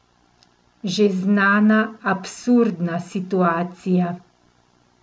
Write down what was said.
Že znana absurdna situacija?